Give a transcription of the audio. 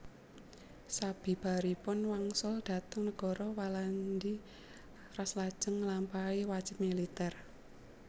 Sabibaripun wangsul dhateng negara Walandi Ras lajeng nglampahi wajib militèr